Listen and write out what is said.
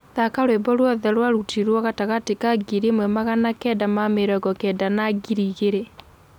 thaka rwĩmbo ruothe rwa rutiirwo gatagati ka ngiri ĩmwe magana kenda na mĩrongo kenda na ngiri ĩgĩrĩ